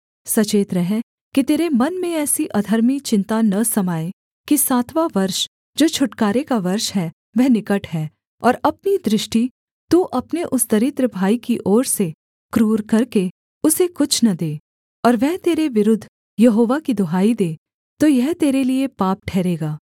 सचेत रह कि तेरे मन में ऐसी अधर्मी चिन्ता न समाए कि सातवाँ वर्ष जो छुटकारे का वर्ष है वह निकट है और अपनी दृष्टि तू अपने उस दरिद्र भाई की ओर से क्रूर करके उसे कुछ न दे और वह तेरे विरुद्ध यहोवा की दुहाई दे तो यह तेरे लिये पाप ठहरेगा